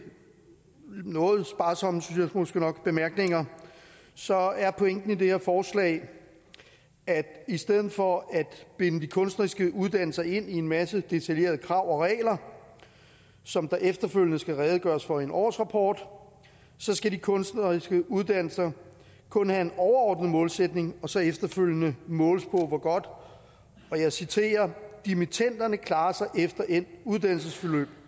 noget sparsomme synes jeg måske nok bemærkninger så er pointen i det her forslag at i stedet for at binde de kunstneriske uddannelser ind i en masse detaljerede krav og regler som der efterfølgende skal redegøres for i en årsrapport skal de kunstneriske uddannelser kun have en overordnet målsætning og så efterfølgende måles på hvor godt dimittenderne klarer sig efter endt uddannelsesforløb